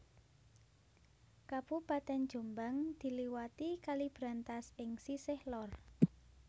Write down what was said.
Kabupatèn Jombang diliwati Kali Brantas ing sisih lor